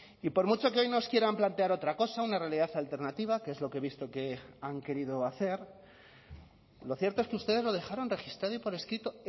y por mucho que hoy nos quieran plantear otra cosa una realidad alternativa que es lo que he visto que han querido hacer lo cierto es que ustedes lo dejaron registrado y por escrito